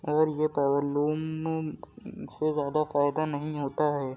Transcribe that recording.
और ये से ज़्यादा फायदा नहीं होता है।